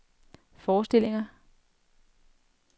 forestillinger